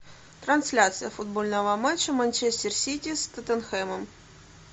трансляция футбольного матча манчестер сити с тоттенхэмом